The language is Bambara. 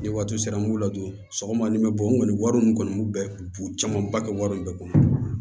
Ni waati sera n b'u ladon sɔgɔma ni bɛ bɔ n kɔni wari nin kɔni bɛɛ bon camanba kɛ wari in bɛ kɔnɔ